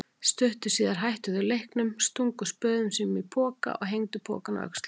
Stuttu síðar hættu þau leiknum, stungu spöðum sínum í poka og hengdu pokann á öxlina.